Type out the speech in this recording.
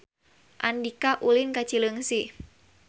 Andika ulin ka Cileungsi